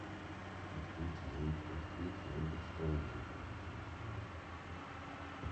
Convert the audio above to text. открыть яндекс толоку на телефоне